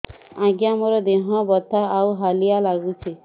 ଆଜ୍ଞା ମୋର ଦେହ ବଥା ଆଉ ହାଲିଆ ଲାଗୁଚି